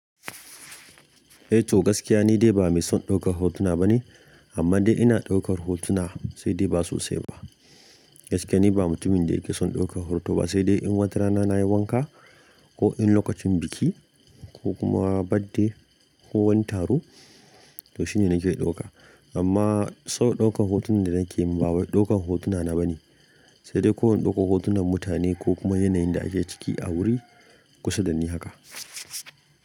Eh to gaskiya ni dai ba mai son ɗaukar hotuna bane, amman dai ina ɗaukar hotuna sai dai ba sosai ba. Gaskiya ni ba mutumin da yake son ɗaukar hoto ba sai dai in wata rana na yi wanka ko in lokacin biki ko kuma badde ko wani taro to shine nake ɗauka. Amma sau ɗaukan hotunan da nake yi ba wai ɗaukan hotuna na bane sai dai ko in ɗauko hotunan mutane ko kuma yanayin da ake ciki a wuri kusa da ni haka.